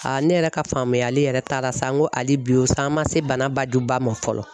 ne yɛrɛ ka faamuyali yɛrɛ taara sa n ko hali bi sa an ma se bana bajuba ma fɔlɔ